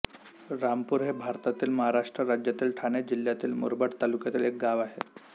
रामपूर हे भारतातील महाराष्ट्र राज्यातील ठाणे जिल्ह्यातील मुरबाड तालुक्यातील एक गाव आहे